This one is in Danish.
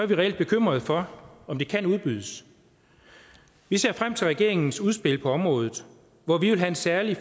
vi reelt bekymrede for om de kan udbydes vi ser frem til regeringens udspil på området og vi vil særlig